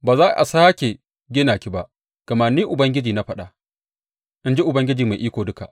Ba za a sāke gina ki ba, gama Ni Ubangiji na faɗa, in ji Ubangiji Mai Iko Duka.